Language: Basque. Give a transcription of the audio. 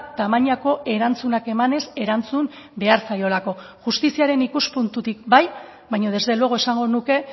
tamainako erantzunak emanez erantzun behar zaiolako justiziaren ikuspuntutik bai baina desde luego esango nuke